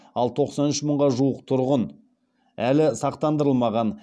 ал тоқсан үш мыңға жуық тұрғын әлі сақтандырылмаған